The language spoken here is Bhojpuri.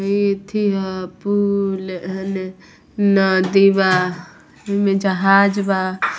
इ अथी हअ पूल हने नदी बा इमे जाहज बा।